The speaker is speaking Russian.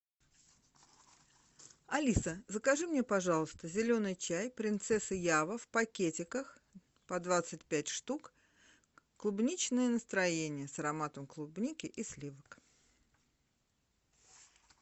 алиса закажи мне пожалуйста зеленый чай принцесса ява в пакетиках по двадцать пять штук клубничное настроение с ароматом клубники и сливок